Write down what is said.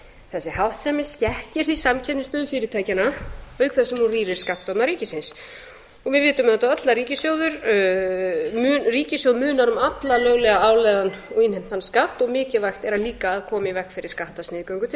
þessi háttsemi skekkir því samkeppnisstöðu fyrirtækjanna auk þess sem hún rýrir skattstofna ríkisins og við vitum auðvitað öll að ríkissjóð munar um allan löglega álagðan og innheimtan skatt og mikilvægt er líka að koma í veg fyrir skattsniðgöngu til